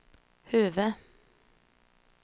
huvud-